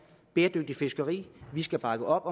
bæredygtigt fiskeri vi skal bakke op